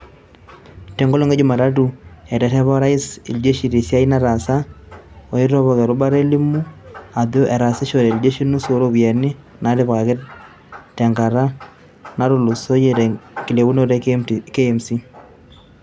Tenkolong e jumatatu eterepa Orais iljeshi tesiai nataasa aitopok erubata eilimu ajoo etaasishore iljeshi nusu ooropiyiani naatipikaki tenkata natulusoyia tenkilepunoto e KMC.